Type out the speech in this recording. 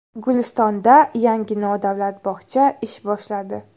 Gulistonda yangi nodavlat bog‘cha ish boshladi.